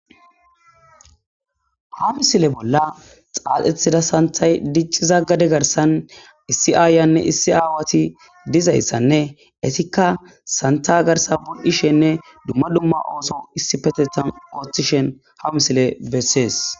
Ha misile bolla xaaxethida santay dicci zaggade garsan issi aayanne issi aawati dizayssanne etikka santa garsa bul'ishenne dumma dumma ooso issi petetan oolthishen ha misile bessees